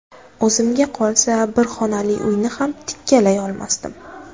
O‘zimga qolsa bir xonali uyni ham tikkalay olmasdim.